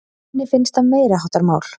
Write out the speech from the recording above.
Henni finnst það meiriháttar mál!